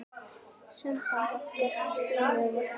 Samband okkar Stínu var gott.